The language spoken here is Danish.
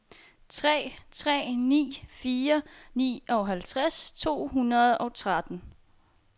tre tre ni fire nioghalvtreds to hundrede og tretten